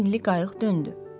Qara rəngli qayıq döndü.